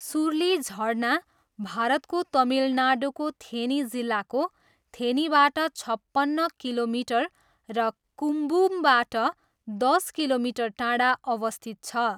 सुरुली झरना भारतको तमिलनाडुको थेनी जिल्लाको थेनीबाट छपन्न किलोमिटर र कुम्बुमबाट दस किलोमिटर टाढा अवस्थित छ।